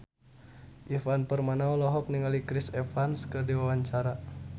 Ivan Permana olohok ningali Chris Evans keur diwawancara